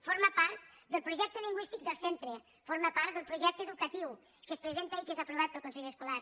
forma part del projecte lingüístic del centre forma part del projecte educatiu que es presenta i que és aprovat pel consell escolar